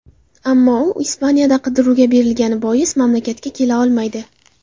Ammo u Ispaniyada qidiruvga berilgani bois mamlakatga kela olmaydi.